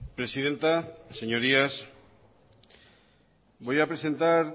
presidenta señorías voy a presentar